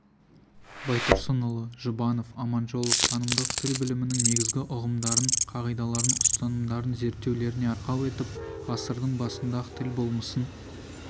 байтұрсынұлы жұбанов аманжолов танымдық тіл білімінің негізгі ұғымдарын қағидаларын ұстанымдарын зерттеулеріне арқау етіп ғасырдың басында-ақ тіл болмысын